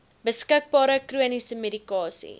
beskikbare chroniese medikasie